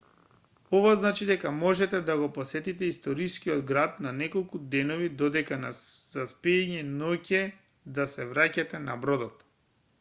ова значи дека можете да го посетите историскиот град на неколку денови додека за спиење ноќе да се враќате на бродот